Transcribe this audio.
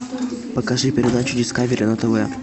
покажи передачу дискавери на тв